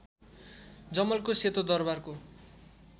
जमलको सेतो दरबारको